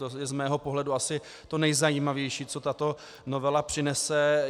To je z mého pohledu asi to nejzajímavější, co tato novela přinese.